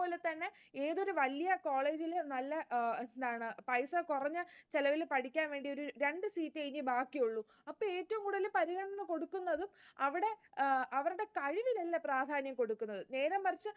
അതേപോലെതന്നെ ഏതൊരു വലിയ college ൽ നല്ല എന്താണ് അഹ് എന്താണ് പൈസ കുറഞ്ഞ് ചിലവില് പഠിക്കാൻ വേണ്ടി ഒരു ഇനി രണ്ട് seat ഇനി ബാക്കിയുള്ളൂ. അപ്പോൾ ഏറ്റവും കൂടുതൽ പരിഗണന കൊടുക്കുന്നത്, അവിടെ അഹ് അവരുടെ കഴിവ് പ്രാധാന്യം കൊടുക്കുന്നത്. നേരെമറിച്ച്